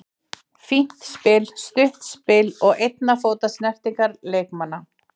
Fínt spil, stutt spil og einna fóta snertingar leikmanna.